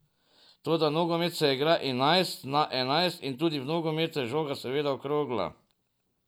Toda nogomet se igra enajst na enajst in tudi v nogometu je žoga seveda okrogla.